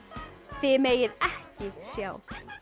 þið megið ekki sjá